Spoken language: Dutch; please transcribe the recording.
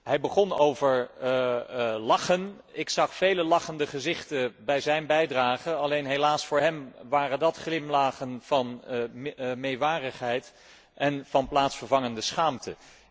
Hij begon over lachen, ik zag vele lachende gezichten tijdens zijn bijdrage, alleen, helaas voor hem waren dat glimlachjes van meewarigheid en van plaatsvervangende schaamte.